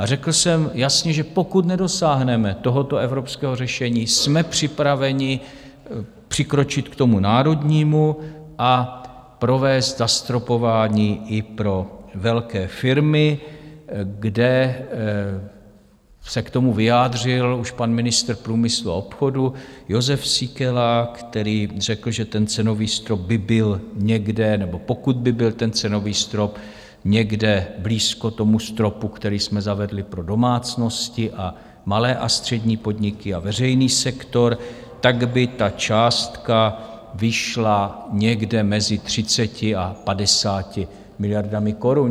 A řekl jsem jasně, že pokud nedosáhneme tohoto evropského řešení, jsme připraveni přikročit k tomu národnímu a provést zastropování i pro velké firmy, kde se k tomu vyjádřil už pan ministr průmyslu a obchodu Jozef Síkela, který řekl, že ten cenový strop by byl někde, nebo pokud by byl ten cenový strop někde blízko tomu stropu, který jsme zavedli pro domácnosti a malé a střední podniky a veřejný sektor, tak by ta částka vyšla někde mezi 30 a 50 miliardami korun.